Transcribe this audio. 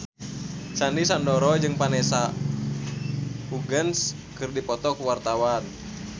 Sandy Sandoro jeung Vanessa Hudgens keur dipoto ku wartawan